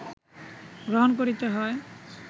গ্রহণ করিতে হয়